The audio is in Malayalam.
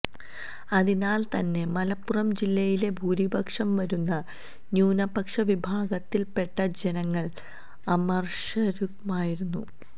അതിനാല് തന്നെ മലപ്പുറം ജില്ലയിലെ ഭൂരിപക്ഷം വരുന്ന ന്യൂനപക്ഷ വിഭാഗത്തില്പ്പെട്ട ജനങ്ങള് അമര്ഷരുമായിരുന്നു